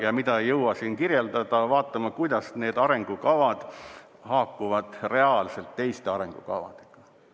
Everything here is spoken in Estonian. Ja mida ei jõua siin kirjeldada, vaadata, on see, kuidas need arengukavad haakuvad reaalselt teiste arengukavadega.